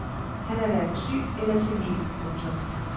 Han er hverken syg eller senil. punktum